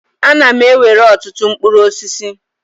A na m ewere ọtụtụ mkpụrụ osisi.